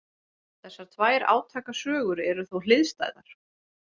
Þessar tvær átakasögur eru þó hliðstæðar.